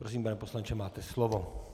Prosím, pane poslanče, máte slovo.